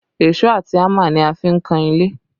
Èṣó àti hámà ni a fi ń kan ilé